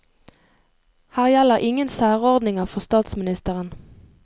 Her gjelder ingen særordninger for statsministeren.